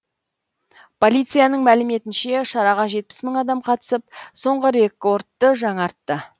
полицияның мәліметінше шараға жетпіс мың адам қатысып соңғы рекордты жаңартты